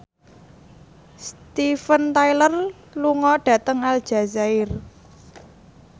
Steven Tyler lunga dhateng Aljazair